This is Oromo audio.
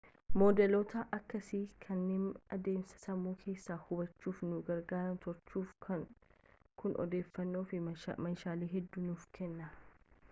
moodeloota akkeessaa kanneen adeemsa sammuu keessaa hubachuuf nu gargaaran tolchuuf kun odeeffannoo fi meeshaalee hedduu nuuf kenna